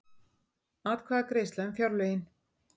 Atkvæðagreiðsla um fjárlögin